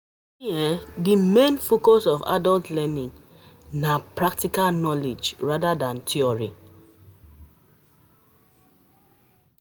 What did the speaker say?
The um main focus um of adult learning um na on practical knowledge rather than theory